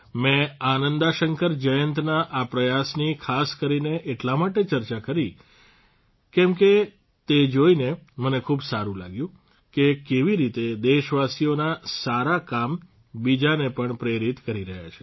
મેં આનંદા શંકર જયંતના આ પ્રયાસની ખાસ કરીને એટલા માટે ચર્ચા કરી કેમ કે તે જોઇને મને ખૂબ સારૂં લાગ્યું કે કેવી રીતે દેશવાસીઓના સારા કામ બીજાને પણ પ્રેરિત કરી રહ્યા છે